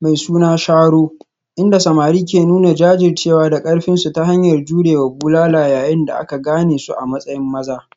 mai suna sharo, inda samari ke nuna jajircewa da karfinsu ta hanyar jure wa bulala yayin da aka gane su a matsayin maza.